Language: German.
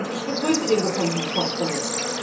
Ich begrüße den gefundenen Kompromiss.